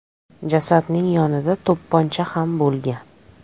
Jasadning yonida to‘pponcha ham bo‘lgan.